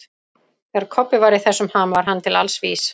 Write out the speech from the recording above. Þegar Kobbi var í þessum ham var hann til alls vís.